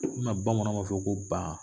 O kama bamananw b'a fɔ ko ba